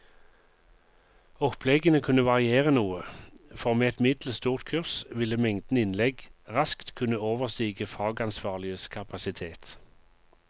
Oppleggene kunne variere noe, for med et middels stort kurs ville mengden innlegg raskt kunne overstige fagansvarliges kapasitet.